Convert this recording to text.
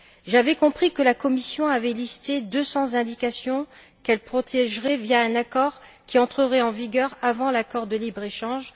J'avais compris que la Commission avait listé 200 indications qu'elle protégerait via un accord qui entrerait en vigueur avant l'accord de libre échange.